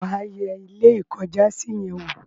wà á yẹ Ilé-ìkọ́jàsí yẹn wò?